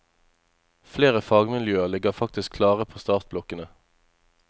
Flere fagmiljøer ligger faktisk klare på startblokkene.